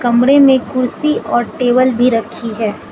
कमरे में कुर्सी और टेबल भी रखी है।